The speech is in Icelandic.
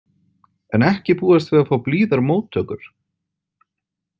En ekki búast við að fá blíðar móttökur.